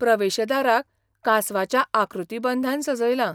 प्रवेश दाराक कांसवाच्या आकृतीबंधान सजयलां.